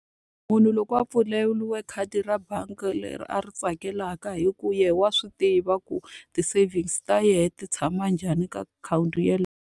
Munhu loko a pfuleriwe khadi ra bangi leri a ri tsakelaka hikuva yena wa swi tiva ku ti-savings ta yena ti tshama njhani ka akhawunti yeleyo.